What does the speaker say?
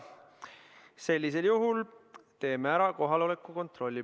Sellisel juhul teeme kohaloleku kontrolli.